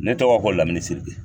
Ne tɔgɔ ko Lamini Siribe.